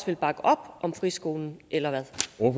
vil bakke op om friskolen eller